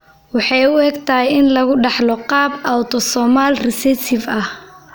Waxay u egtahay in lagu dhaxlo qaab autosomal recessive ah.